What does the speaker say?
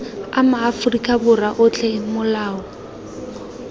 a maaforika borwa otlhe molao